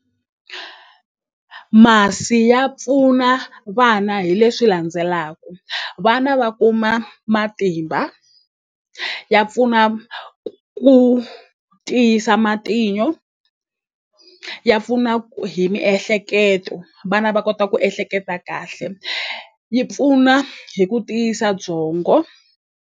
Masi ya pfuna vana hi leswi landzelaku vana va kuma matimba ya pfuna ku tiyisa matinyo ya pfuna hi miehleketo vana va kota ku ehleketa kahle yi pfuna hi ku tiyisa byongo.